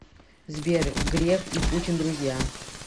сбер греф и путин друзья